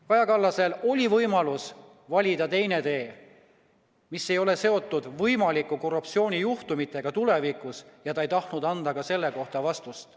Kaja Kallasel oli võimalus valida teine tee, mis ei oleks seotud võimalike korruptsioonijuhtumitega tulevikus, aga ta ei tahtnud anda selle kohta vastust.